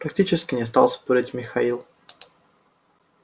практически не стал спорить михаил